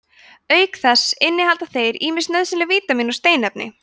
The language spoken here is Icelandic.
auk þess innihalda þeir ýmis nauðsynleg vítamín og steinefni